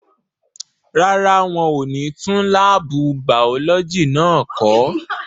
Rárá, wọ́n ò ní tún láàbù bàọ́lọ́jì náà kọ́.